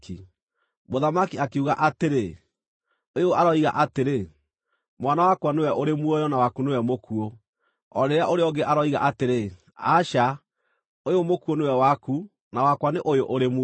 Mũthamaki akiuga atĩrĩ, “Ũyũ aroiga atĩrĩ, ‘Mwana wakwa nĩwe ũrĩ muoyo na waku nĩwe mũkuũ,’ o rĩrĩa ũrĩa ũngĩ aroiga atĩrĩ, ‘Aca! Ũyũ mũkuũ nĩwe waku, na wakwa nĩ ũyũ ũrĩ muoyo.’ ”